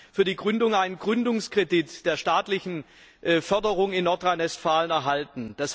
Er hat für die Gründung einen Gründungskredit der staatlichen Förderung in Nordrhein Westfalen erhalten.